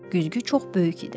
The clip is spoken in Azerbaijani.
Güzgü çox böyük idi.